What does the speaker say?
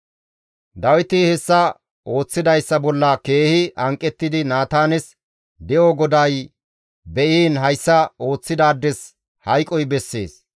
Dawiti hessa ooththidayssa bolla keehi hanqettidi Naataanes, «De7o GODAY be7iin hayssa ooththidaades hayqoy bessees!